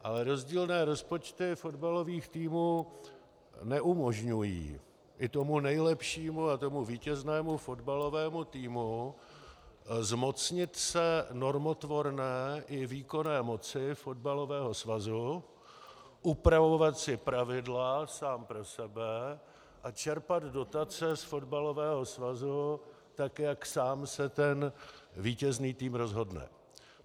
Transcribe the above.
Ale rozdílné rozpočty fotbalových týmů neumožňují i tomu nejlepšímu a tomu vítěznému fotbalovému týmu zmocnit se normotvorné i výkonné moci fotbalového svazu, upravovat si pravidla sám pro sebe a čerpat dotace z fotbalového svazu, tak jak sám se ten vítězný tým rozhodne.